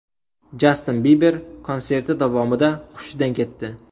Jastin Biber konserti davomida hushidan ketdi.